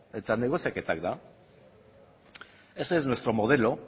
eta negoziaketa da ese es nuestro modelo